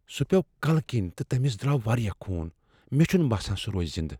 سُہ پیو کلہٕ کِنۍ تہٕ تٔمس دراو واریاہ خون ۔ مےٚ چھنہٕ باسان سُہ روزِ زندہ ۔